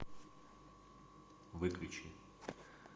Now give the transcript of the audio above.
выключи